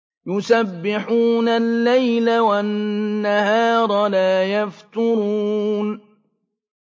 يُسَبِّحُونَ اللَّيْلَ وَالنَّهَارَ لَا يَفْتُرُونَ